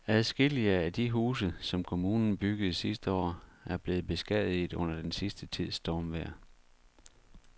Adskillige af de huse, som kommunen byggede sidste år, er blevet beskadiget under den sidste tids stormvejr.